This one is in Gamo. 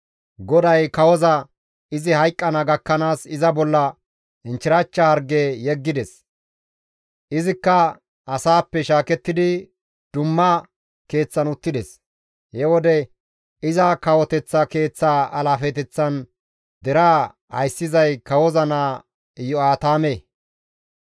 GODAY kawoza izi hayqqana gakkanaas iza bolla inchchirachcha harge yeggides; izikka asappe shaakettidi dumma keeththan uttides; he wode iza kawoteththa keeththaa alaafeteththan deraa ayssizay kawoza naa Iyo7aatame.